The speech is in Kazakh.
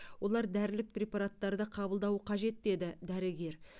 олар дәрілік препараттарды қабылдауы қажет деді дәрігер